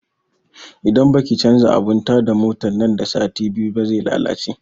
Idan baki canza abun ta da motan nan da sati biyu ba zai lalace